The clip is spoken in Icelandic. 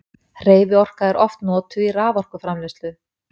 hreyfiorka er oft notuð í raforkuframleiðslu